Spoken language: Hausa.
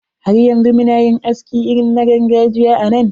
Har yanzu muna yin aski irin na gargajiya a nan.